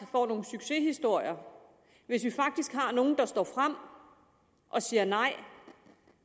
får nogle succeshistorier hvis vi faktisk har nogle der står frem og siger nej